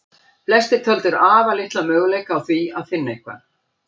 Flestir töldu afar litla möguleika á því finna eitthvað.